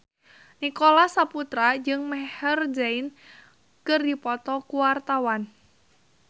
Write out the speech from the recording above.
Nicholas Saputra jeung Maher Zein keur dipoto ku wartawan